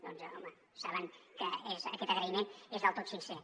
doncs home saben que aquest agraïment és del tot sincer